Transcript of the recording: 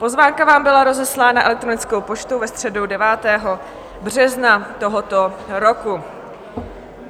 Pozvánka vám byla rozeslána elektronickou poštou ve středu 9. března tohoto roku.